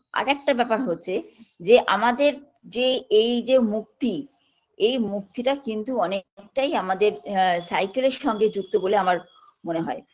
আর একটা ব্যাপার হচ্ছে যে আমাদের যে এই যে মুক্তি এই মুক্তিটা কিন্তু অনেকটাই আমাদের আ cycle -এর সঙ্গে যুক্ত বলে আমার মনে হয়